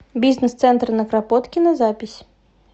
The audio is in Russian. бизнес центр на кропоткина запись